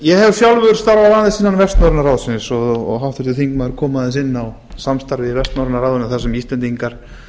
ég hef sjálfur starfað aðeins innan vestnorræna ráðsins og háttvirtur þingmaður kom aðeins inn á samstarfið í vestnorræna ráðinu þar sem íslendingar